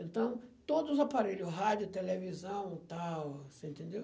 Então, todos os aparelhos, rádio, televisão e tal, você entendeu?